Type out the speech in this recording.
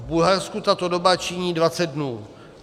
V Bulharsku tato doba činí 20 dnů.